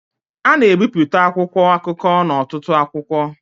a na-ebipụta akwụkwọ akụkọ n'ọtụtụ akwụkwọ